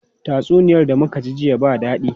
Tatsuniyar da muka ji jiya ba dadi.